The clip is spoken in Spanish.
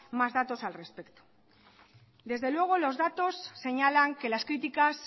más datos al respecto desde luego los datos señalan que las críticas